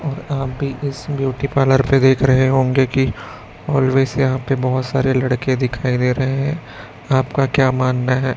और आप भी इस ब्यूटी पार्लर पे देख रहे होंगे कि ऑलवेज यहाॅं पे बहोत सारे लड़के दिखाई दे रहे हैं आपका क्या मानना हैं?